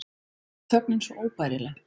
Mér fannst þögnin svo óbærileg.